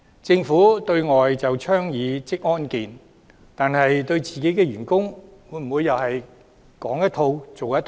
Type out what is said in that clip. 政府對外倡議職業安全健康，但對自己的員工會否又是說一套、做一套？